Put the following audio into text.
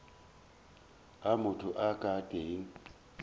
a motho a ka teng